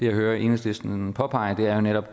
hører enhedslisten påpege er jo netop